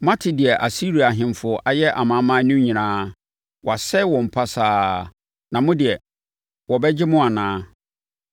Moate deɛ Asiria ahemfo ayɛ amanaman no nyinaa. Wɔasɛe wɔn pasaa. Na mo deɛ wɔbɛgye mo anaa?